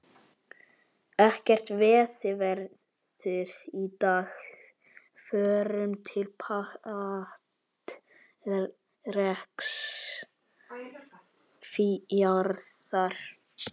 Ekkert veiðiveður í dag, förum til Patreksfjarðar.